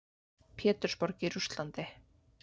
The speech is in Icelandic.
Pétursborg í Rússlandi.